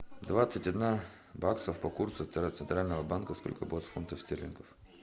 двадцать одна баксов по курсу центрального банка сколько будет фунтов стерлингов